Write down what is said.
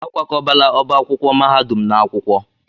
A kwakọbala ọba akwụkwọ mahadum n'akwụkwọ.